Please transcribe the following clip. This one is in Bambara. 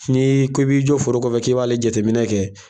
N'i ko i b'i jɔ foro kɔfɛ k'i b'ale jateminɛ kɛ